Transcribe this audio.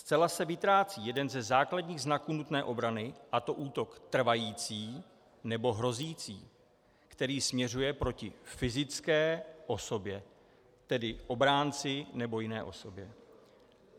Zcela se vytrácí jeden ze základních znaků nutné obrany, a to útok trvající nebo hrozící, který směřuje proti fyzické osobě, tedy obránci nebo jiné osobě.